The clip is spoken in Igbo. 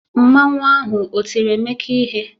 Mmanwu ahụ o tiri Emeka ihe?